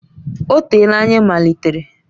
Ọ teela anyị malitere.